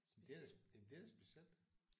Men det er da men det er da specielt